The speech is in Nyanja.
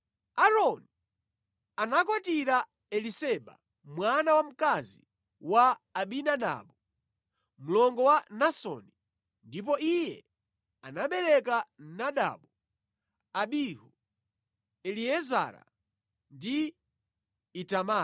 Aaroni anakwatira Eliseba, mwana wamkazi wa Aminadabu, mlongo wa Nasoni ndipo Iye anabereka Nadabu, Abihu, Eliezara ndi Itamara.